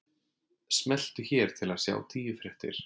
Smelltu hér til að sjá tíu fréttir